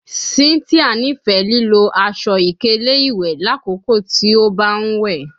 Cynthia nifẹ lilo aṣọ-ikele iwẹ lakoko ti o ba n we